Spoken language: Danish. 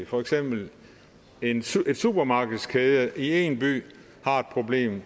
for eksempel en supermarkedskæde i én by har et problem